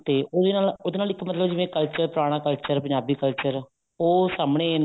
ਤੇ ਉਹਦੇ ਨਾਲ ਉਹਦੇ ਨਾਲ ਇੱਕ ਮਤਲਬ culture ਜਿਵੇਂ ਪੁਰਾਣਾ culture ਪੰਜਾਬੀ culture ਉਹ ਸਾਮਨੇ